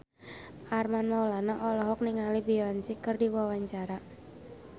Armand Maulana olohok ningali Beyonce keur diwawancara